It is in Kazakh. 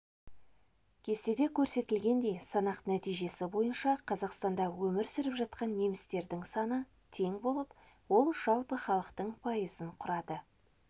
кестеде көрсетілгендей санақ нәтижесі бойынша қазақстанда өмір сүріп жатқан немістердің саны тең болып ол жалпы халықтың пайызын құрады